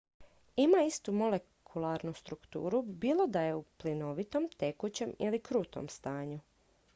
ima istu molekularnu strukturu bilo da je u plinovitom tekućem ili krutom stanju